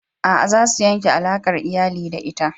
A'a, za su yanke alakar iyali da ita.